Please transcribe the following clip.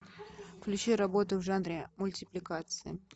включи работу в жанре мультипликации